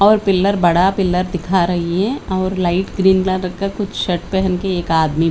और पिलर बड़ा पिलर दिखा रही है और लाइट ग्रीन रंग का कुछ शर्ट पहन कर एक आदमी--